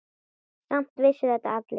Samt vissu þetta allir.